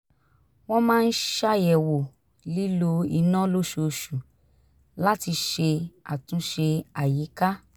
wọ́n máa ń ṣàyẹ̀wò lílò iná lóṣooṣù láti ṣe àtúnṣe àyíká